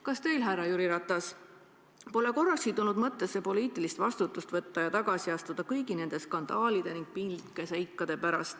Kas teil, härra Jüri Ratas, pole korrakski tulnud mõttesse poliitilist vastutust võtta ja kõigi nende skandaalide ning piinlike seikade pärast tagasi astuda?